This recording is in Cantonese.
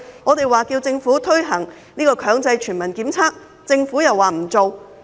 我們要求政府推行強制全民檢測，政府又不推行。